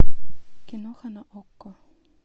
киноха на окко